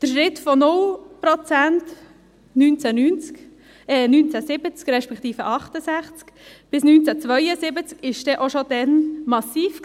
Der Schritt von 0 Prozent, 1970, respektive von 1968 bis 1972, war denn schon damals massiv.